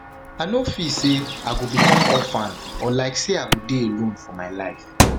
i no feel say i go become orphan or like say i go dey alone for my life